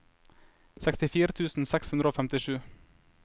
sekstifire tusen seks hundre og femtisju